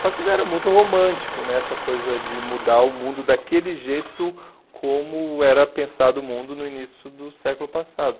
Só que ainda era muito romântico né essa coisa de mudar o mundo daquele jeito como como era pensado o mundo no início do século passado.